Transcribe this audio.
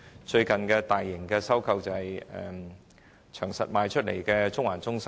最近的大型收購例子是長實出售的中環中心。